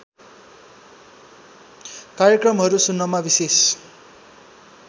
कार्यक्रमहरू सुन्नमा विशेष